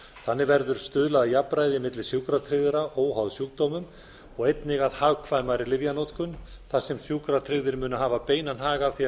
þannig verður stuðlað að jafnræði milli sjúkratryggðra óháð sjúkdómum og einnig að hagkvæmari lyfjanotkun þar sem sjúkratryggðir munu hafa beinan hag af því að